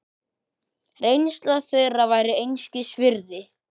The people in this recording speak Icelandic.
Reynsla þeirra væri einskis virði.